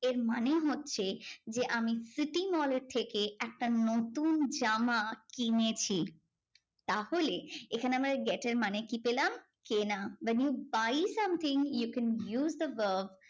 এর মানে হচ্ছে যে আমি city mall এর থেকে একটা নতুন জামা কিনেছি। তাহলে এখানে আমরা get এর মানে কি পেলাম? কেনা when you buy something you can use the verb